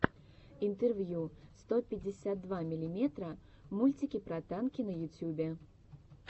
интервью сто пятьдесят два миллиметра мультики про танки на ютюбе